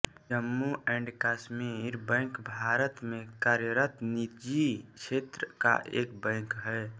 Jammu and Kashmir bank Bharat में कार्यरत निजी क्षेत्र का एक बैंक है